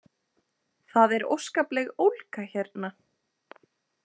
Það er óskapleg ólga hérna